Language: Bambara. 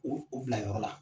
U u bila yɔrɔ la.